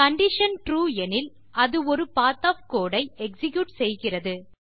condition true எனில் அது ஒரு பத் ஒஃப் கோடு ஐ எக்ஸிக்யூட் செய்கிறது